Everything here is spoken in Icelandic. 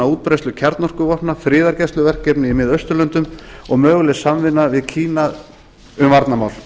útbreiðslu kjarnorkuvopna friðargæsluverkefni í mið austurlöndum og möguleg samvinna við kína um varnarmál